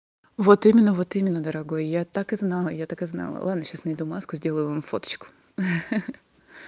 вот именно вот именно дорогой я так и знала я так и знал ладно сейчас найду маску сделаю вам фоточку ха-ха